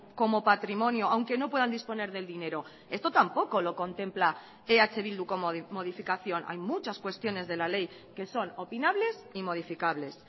como patrimonio aunque no puedan disponer del dinero esto tampoco lo contempla eh bildu como modificación hay muchas cuestiones de la ley que son opinables y modificables